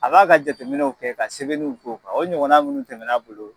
A b'a ka jateminɛw kɛ ka sɛbɛniw kɛ o kan o ɲɔgɔn minnu tɛmɛn'a bolo.